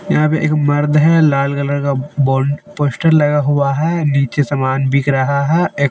यहां पे एक मर्द है लाल कलर का बोल पोस्टर लगा हुआ है नीचे समान बिक रहा है एक--